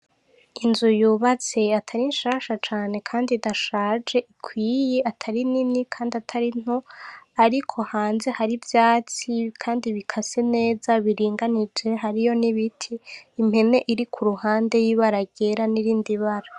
Inyubak' itaboneka neza can' isiz' amarang' atandukany' ifise n l' inkingi z' ivyum' isakajwe n' amabat' atukura, imbere yayo har'igiti kinini gifis' amababi asa n' icatsi kibis'atotahaye, hasi har' ivyatsi bikase neza bisa n' icatsi kibisi bikikuj' ico giti n' impen' ibonek' irik' irarisha.